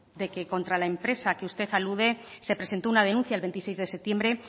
de que contra la empresa que usted alude se presentó una denuncia el veintiséis de septiembre